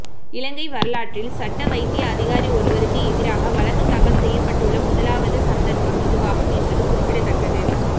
இலங்கை வரலாற்றில் சட்ட வைத்திய அதிகாரி ஒருவருக்கு எதிராக வழக்கு தாக்கல் செய்யப்பட்டுள்ள முதலாவது சந்தர்ப்பம் இதுவாகும் என்பது குறிப்பிடத்தக்கது